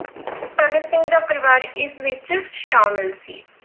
ਭਗਤ ਸਿੰਘ ਦਾ ਪਰਿਵਾਰ ਇਸ ਵਿੱਚ ਸ਼ਾਮਿਲ ਸੀ।